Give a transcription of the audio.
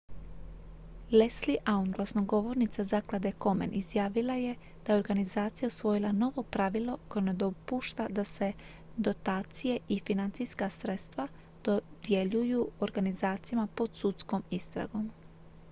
leslie aun glasnogovornica zaklade komen izjavila je da je organizacija usvojila novo pravilo koje ne dopušta da se dotacije i financijska sredstva dodjeljuju organizacijama pod sudskom istragom